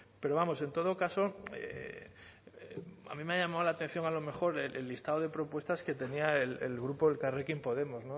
pero vamos en todo caso a mí me ha llamado la atención a lo mejor el listado de propuestas que tenía el grupo elkarrekin podemos